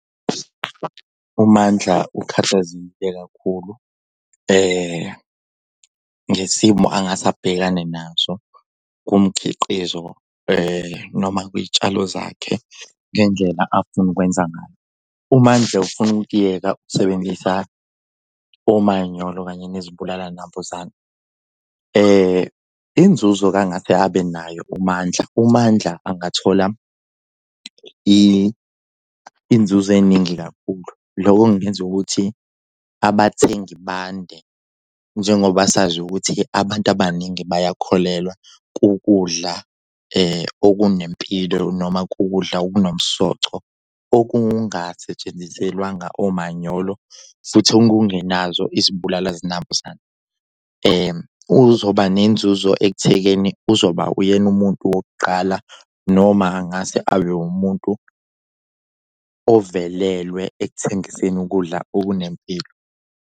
UMandla ukhathazekile kakhulu ngesimo angase abhekane naso kumkhiqizo noma kwiy'tshalo zakhe ngendlela afuna ukwenza ngayo. UMandla ufuna ukukuyeka ukusebenzisa umanyolo kanye nezibulala nambuzane. Inzuzo-ke angase abe nayo uMandla uMandla angathola inzuzo eningi kakhulu. Lokhu kungenza ukuthi abathengi bande njengoba sazi ukuthi-ke abantu abaningi bayakholelwa kukudla okunempilo noma kukudla okunomsoco okungasetshenziselwanga umanyolo futhi okungenazo izibulala zinambuzane. Uzoba nenzuzo ekuthekeni uzoba uyena umuntu wokuqala noma angase abe umuntu ovelelwe ekuthengiseni ukudla okunempilo.